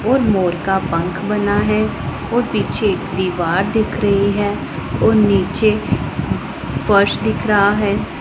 और मोर का पंख बना है और पीछे दीवार दिख रही है और नीचे फर्श दिख रहा है।